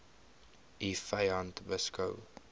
u vyand beskou